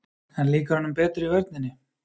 En líkar honum betur í vörninni?